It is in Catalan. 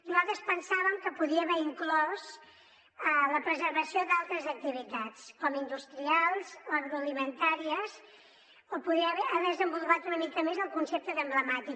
nosaltres pensàvem que podia haver inclòs la preservació d’altres activitats com industrials o agroalimentàries o podria haver desenvolupat una mica més el concepte d’emblemàtic